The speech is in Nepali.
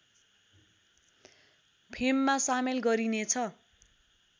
फेममा सामेल गरिने छ